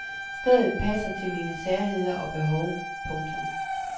Stedet passer til mine særheder og behov. punktum